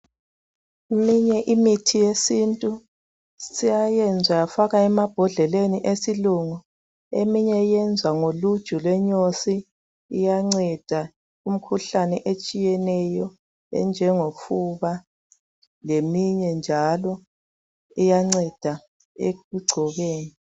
Eminye imithi yesintu seyayenzwa yafakwa emabhodleleni esilungu eminye yezwa ngoluju lwenyosi iyanceda umkhuhlane etshiyeneyo enjongofuba leminye njalo iyanceda ekugcobeni